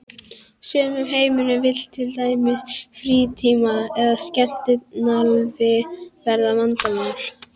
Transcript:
sumum heimilum vill til dæmis frítíminn eða skemmtanalífið verða vandamál.